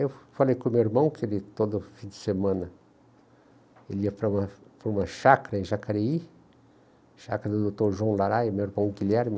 Eu falei com o meu irmão que ele, todo fim de semana, ele ia para uma para uma chácara em Jacareí, chácara do doutor João Laraia, meu irmão Guilherme,